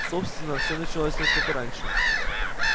собственно все началось несколько раньше